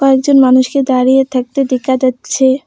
কয়েকজন মানুষকে দাঁড়িয়ে থাকতে দেখা যাচ্ছে।